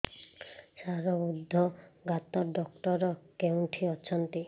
ସାର ହୃଦଘାତ ଡକ୍ଟର କେଉଁଠି ଅଛନ୍ତି